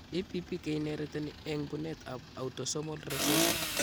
EPP keinheriteni eng' buneet ab autosomal recessive